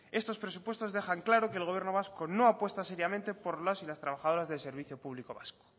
estos presupuestos dejan claro que el gobierno vasco no apuesta seriamente por los y las trabajadoras del servicio público vasco